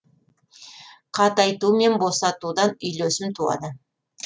қатайту мен босатудан үйлесім туады